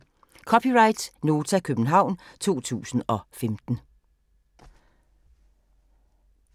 (c) Nota, København 2015